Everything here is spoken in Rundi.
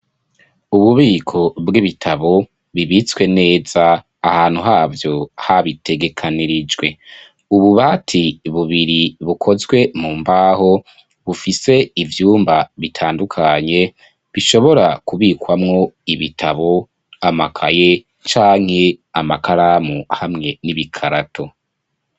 Ububiko bw'ibitabo bibitswe neza ahantu havyo habitegekanirijwe ububati bubiri bukozwe mu mbaho bufise ivyumba bitandukanye bishobora kubikwamwo ibitabo amakaye canke amakaramu hamwe n'ibikarato.